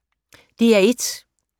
DR1